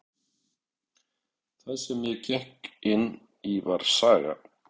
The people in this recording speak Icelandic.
Það sem ég gekk inn í var saga.